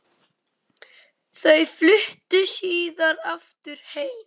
Þau fluttu síðar aftur heim.